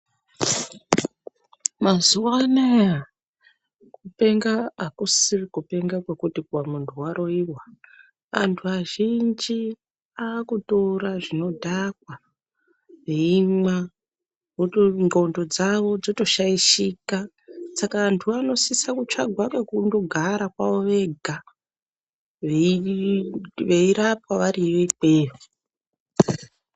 Mazuwa anaya kupenga akusisiri kupenga kwekuti munhu waroiwa anhu azhinji akutora zvinodhaka veimwa nxlondo dzawo dzotoshaishika saka antuwo anosisa kutsvagwa ngekundogara kwavo vega veirapwa variyo ikweyo.